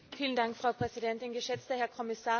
Frau Präsidentin, geschätzter Herr Kommissar!